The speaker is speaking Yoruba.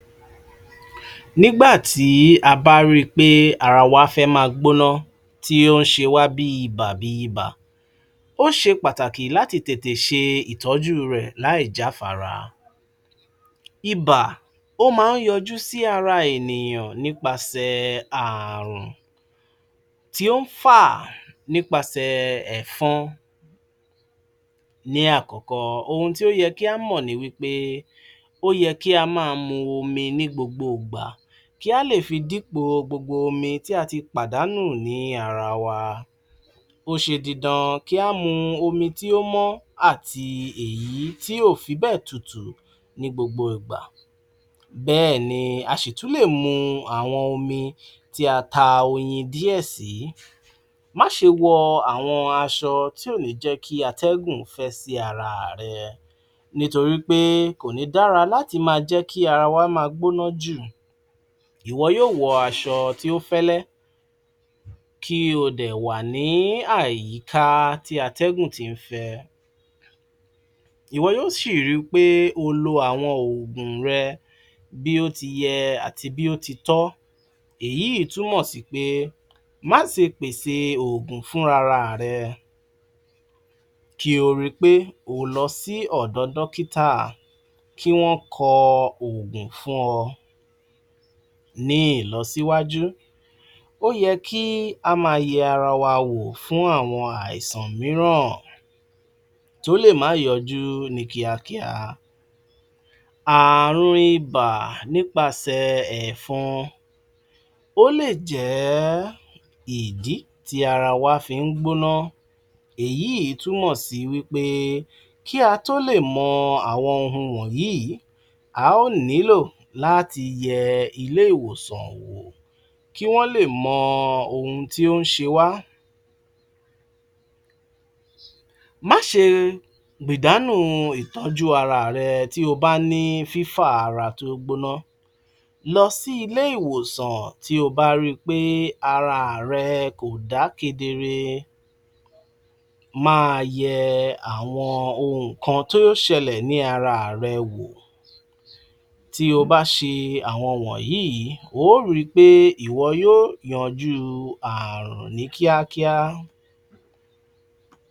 bá wo ni mò ṣe má ń gbé ára à mi ró tin bá wà nínú ìdajúkọọ bóyá ìjákulẹ̀ ni yánà n'íbiṣẹ́ ni àbí l'ọ́wọ́ ara à mi àbí náàárin ilé àbí láàárín-in ọ̀rẹ́, ìnkan tí mo mọ́ ń fẹ́ ń tí mò mọ́ ń dìmú l'órí ọ̀rọ ayé è mi ni pé ní ìgbẹ́kẹ̀lé èyàn asán ni ọlọ́hun nìkan ni ọba tí èyán má ń gbẹ́kẹ̀ lé tí ó sì dúró t'ìyàn, mo ti mọ̀ pé ní n'ílé ayé yìí bákan méjì ni a ní dídùn,a sì ní kíkorò tí dídùn bá dé a á dùúpẹ́ l'ọ́dọ̀ Ọlọ́hun tídàkejì i ẹ̀ náà bá sì ̀ dé ọpẹ́ náà ni. T'éyàn ò bá rídàkejì í rẹ̀ èyàn ò ní mọ b'éyàn ó ṣe dúpẹ́ fún èyí tó ṣe fúnyàn tínú èyán fi dùn. Ti n bá ti n'ígbà gbọ́ ó sì má ń dá mi l'ójú wípé Ọlọ́run rí gbogbo ẹ̀ yóó sì l'àna rere fún mi. Mo tún wá ri pé ní ìgbàni wọlé àwọn ẹni rere t'éyàn bá ń b'áwọn ènìyàn rere tò pọ̀, àwọn àmọ̀ràn kéékèèké tí wọ́n bá fún'yàn ó wà l'ára àwọn ǹkan tó jẹ́ pé ní ní ó m'úyàn ró nínú u àsìkò t'éyàn bá wà ní inú u bànújẹ́, àti pé ní t'éyàn bá n'íṣòro k'éyàn má fi ọwọ́ tó ń dùn'yàn báyìí k'éyàn má fi s'ábẹ́ aṣọ, fi hàn ìṣòro tí ń bá mi fín nì àtibẹ̀ èyán le rí aláàánú'yàn, b'ọ́wọ́ tí ń bá ń dùn'yàn báyìí, ìyàn ò kí ń fi sí abẹ́ aṣọ. Mo tún wá ri pé ní n'ígbà tí a bá ṣee tin bá ṣe parí gbogbo àwọn ǹkan tí mo kà kalẹ̀ yìí ó má ń ṣe mí l'áǹfààní láti tún gbìyànjú si torí pé ní t'éyàn bá gbìyànjú dada ohun gbogbo tó dàbí ìṣòro ní ó padà wá di pẹ̀tẹ́lẹ̀ fún'yàn ni.